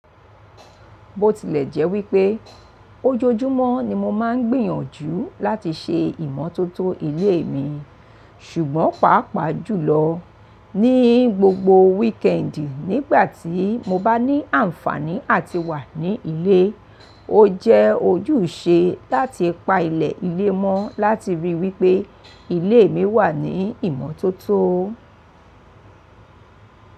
Bó tilẹ̀ jẹ́ wípé ojoojúmọ́ ni mo máa ń gbìyànjú láti ṣe ìmọ́tótó ilé mi, ṣùgbọ́n pàápàá jùlọ ní gbogbo weekend nígbàtí mo bá ní àǹfàní àti wà ní ilé, ó jẹ́ ojúṣe láti pa ilẹ̀ ilé mọ́ láti ríi wípé ilé mi wà ní ìmọ́tótó.